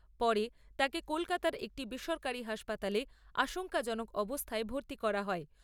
পরে তাকে কলকাতার একটি বেসরকারি হাসপাতালে আশঙ্কাজনক অবস্থায় ভর্তি করা হয়।